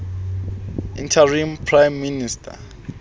interim prime minister